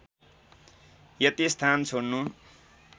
यति स्थान छोड्नु